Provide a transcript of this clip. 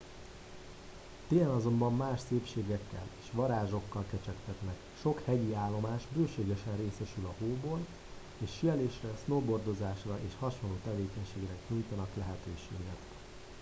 télen azonban más szépségekkel és varázsokkal kecsegtetnek sok hegyi állomás bőségesen részesül a hóból és síelésre snowboardozásra és hasonló tevékenységekre nyújtanak lehetőséget